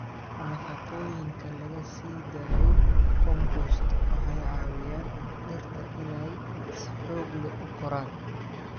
Nafaqooyinka laga sii daayo compost waxay caawiyaan dhirta inay si xoog leh u koraan.